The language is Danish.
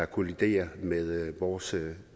kolliderer med vores